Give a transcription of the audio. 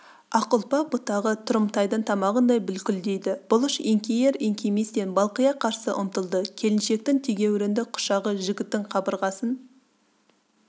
ақ ұлпа бұтағы тұрымтайдың тамағындай бүлкілдейді бұлыш еңкейер-еңкейместен балқия қарсы ұмтылды келіншектің тегеурінді құшағы жігіттің қабырғасын